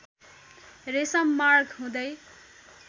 रेशम मार्ग हुँदै